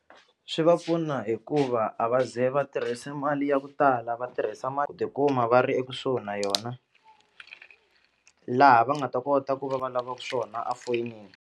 Swi va pfuna hikuva a va ze va tirhise mali ya ku tala va tirhisa tikuma va ri ekusuhi na yona laha va nga ta kota ku va va lavaku swona a foyinini.